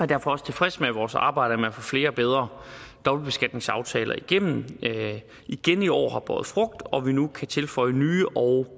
derfor også tilfreds med at vores arbejde med at få flere og bedre dobbeltbeskatningsaftaler igennem igen i år har båret frugt og at vi nu kan tilføje nye og